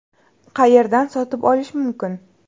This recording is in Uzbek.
Qayerdan sotib olish mumkin?